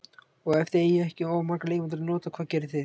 Og ef þið eigið ekki of marga leikmenn til að nota, hvað gerið þið?